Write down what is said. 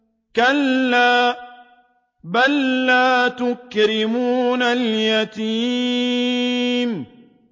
كَلَّا ۖ بَل لَّا تُكْرِمُونَ الْيَتِيمَ